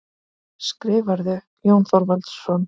Skrifarðu, Jón Þorvaldsson?